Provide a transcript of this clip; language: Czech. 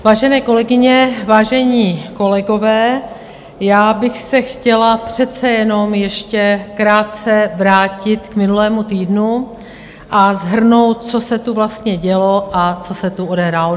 Vážené kolegyně, vážení kolegové, já bych se chtěla přece jenom ještě krátce vrátit k minulému týdnu a shrnout, co se tu vlastně dělo a co se tu odehrálo.